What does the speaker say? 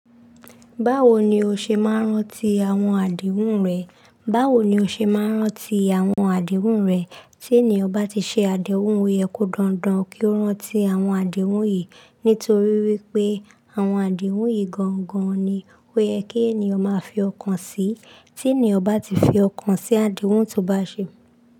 Báwo ni o ṣe máa ń rántí àwọn àdéhùn rẹ? Báwo ni o ṣe máa ń rántí àwọn àdéhùn rẹ? Ti eniyan ba ti se adehun, o ye ko dandan ki o ranti awon adehun yii nítorí wípé àwọn àdéhùn yìí gangan ni ó yẹ kí ènìyàn máa fi ọkàn sí. Tí ènìyàn bá ti fi ọkàn sí àdéhùn tó bá ṣe.